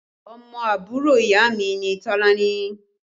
Ọmọ àbúrò ìyá mi ni Tolani